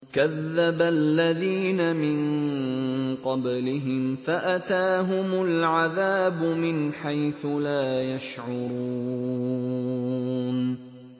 كَذَّبَ الَّذِينَ مِن قَبْلِهِمْ فَأَتَاهُمُ الْعَذَابُ مِنْ حَيْثُ لَا يَشْعُرُونَ